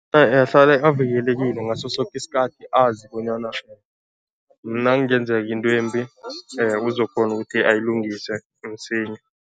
Avikelekile ngaso soke isikhathi azi bonyana nakungenzeka into embi uzokukghona ukuthi ayilungise msinya.